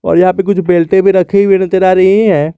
और यहां पे कुछ बेल्टे भी रखी हुई नजर आ रही है।